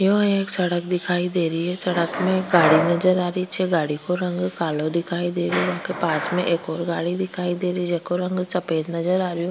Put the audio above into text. यह एक सड़क दिखाई दे रही है सड़क में गाड़ी नजर आरी छे गाड़ी को रंग कालो दिखाई दे रियो है पास में एक और गाड़ी दिखाई देरी जको रंग सफेद नजर आरो।